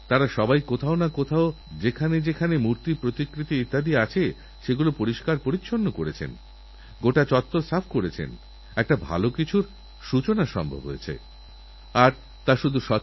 আর একটি সমস্যা হলো ডাক্তার হয়তো বললেন এই অ্যান্টিবায়োটিক পনেরোটা খেতেহবে পাঁচদিন ধরে আমি আপনাদের অনুরোধ করছি ডাক্তারের কথা শুনে পুরো কোর্স ঔষধখান আর্ধেক খাওয়ার পর ছেড়ে দেবেন না তা না হলে এতে জীবানুদের সুবিধা হবে আরদরকারের বেশি খেয়ে ফেললেও ওই সব জীবানুদের সুবিধা হয়ে যাবে